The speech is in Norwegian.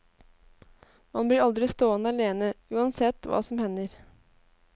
Man blir aldri stående alene, uansett hva som hender.